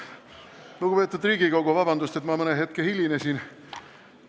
Lugupeetud Riigikogu, vabandust, et ma mõne hetke hilinesin!